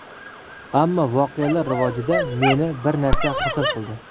Ammo voqealar rivojida meni bir narsa xursand qildi.